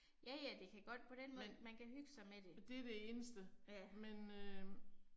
Ja ja det kan godt på den måde, man kan hygge sig med det. Ja